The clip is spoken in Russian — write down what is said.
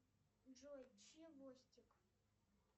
джой чевостик